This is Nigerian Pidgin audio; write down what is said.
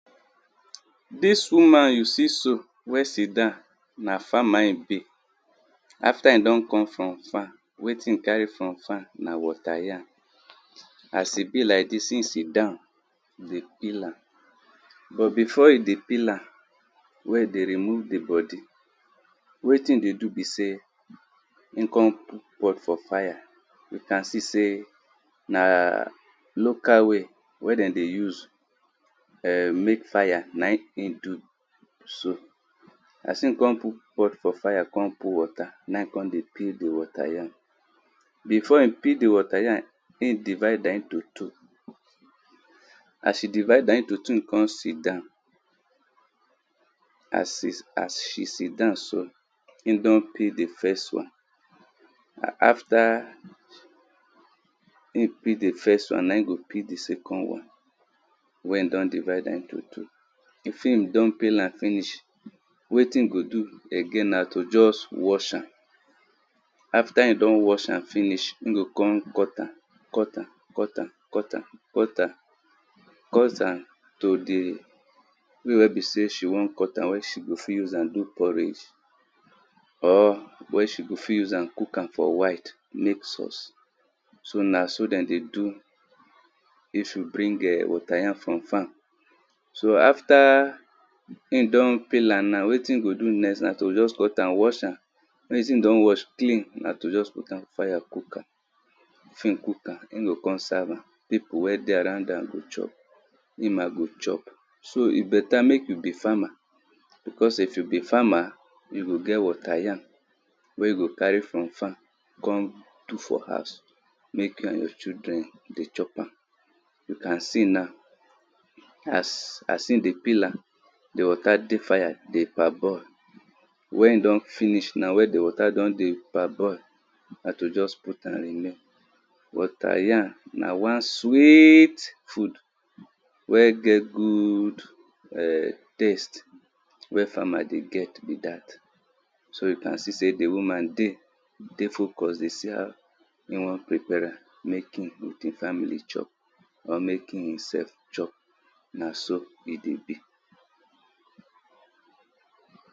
Di woman you see so na farmer e be after e don come from farm wetin e carry from farm na water yam, as e belike dis, e sit down dey pel am, but before e dey peel am wen e dey rmove di bodi, wetin e dey do be sey e kon put pot for fire una see sey na local way wen de dey use mek fire na im e do. So as e kon put pot for fire kon put water na in e kon dey peel di water ym. Before e peel di water yam, e divide am into two, as e divide am into two, e kon sit down, as e sit down so, e kon peel di first wan. After e peel di first wan na e go peel di second wan wen e don divede am into two if e don pain am finish, wetin e go do again na to ust wash am, after e don wash am finish, e go kon cut am, cut am cut am. Cut am to di di way wen besey she won cut am wey she go fit use am do porridge or wen she go fit use am forwhte mek sauce. So n so dem dey do if you bring water yam from farm. So after e don peel am na wetin e go do next na to just wash am wen di thing don clean na to just pout am fire cook am e go kon serve am, pipu wen dey around am go chop, im na go chop. so beta mek yu be farmer because sey if you be farmer you goget water yam wey you go carry from farm kon put for house mek you and your children dey chop am. So as e dey peel am, di water dey fire dey parboil, wen e don finish na wen di water don dey parboil, na to just put am remain. Water yam na wan sweet food wen get good[um]taste wey famer dey get be dat so una see sey di woman dey focus dey see how e won prepare ram mek e with e family chop or mek him sef chop na so e dey be